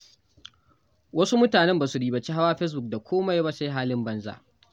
Wasu mutane ba su ribaci hawa Facebook da kome ba sai halin banza.